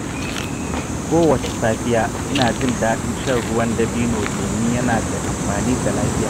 Kowace safiya, ina jin daɗin shan ruwan dabino domin yana da amfani ga lafiya.